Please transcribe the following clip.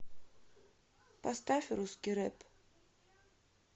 поставь русский рэп